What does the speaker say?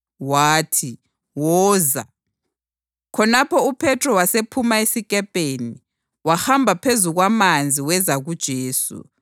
Wathi, “Woza.” Khonapho uPhethro wasephuma esikepeni, wahamba phezu kwamanzi weza kuJesu.